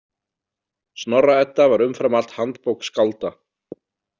Snorra- Edda var umfram allt handbók skálda.